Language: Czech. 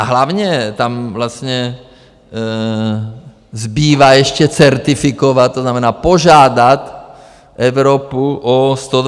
A hlavně tam vlastně zbývá ještě certifikovat, to znamená, požádat Evropu o 128 miliard.